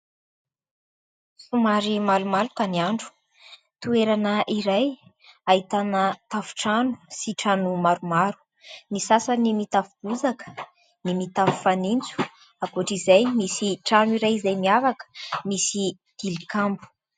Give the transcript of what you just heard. Somary malomaloka ny andro. Toerana iray ahitana tafotrano sy trano maromaro. Ny sasany mitafy bozaka, ny mitafo fanintso ; ankoatran'izay misy trano iray izay miavaka misy tilikambo.